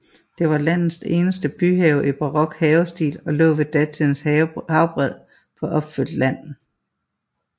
Det var landets eneste byhave i barok havestil og lå ved datidens havbred på opfyldt land